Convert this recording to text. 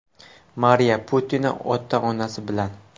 Mariya Putina ota-onasi bilan.